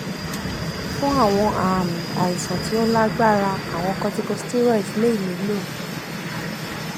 fun awọn aami aisan ti o lagbara awọn corticosteroids le nilo